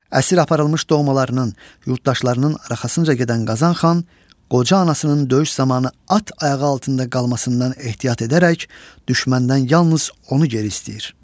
Əsir aparılmış doğmalarının, yurddaşlarının arxasınca gedən Qazan xan qoca anasının döyüş zamanı at ayağı altında qalmasından ehtiyat edərək düşməndən yalnız onu geri istəyir.